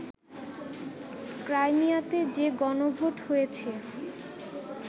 ক্রাইমিয়াতে যে গণভোট হয়েছে